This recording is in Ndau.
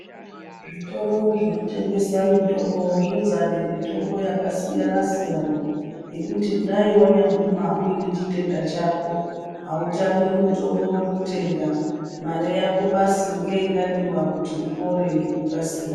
Zvitoro zvinotengesa mitombo zvidzare mitombo yakasiyana siyana yekuti kudai wanyamboma unechitenda chako autami mutombo wekutenga mare yako basi ngeingadiwa kuti upore ngekukasira.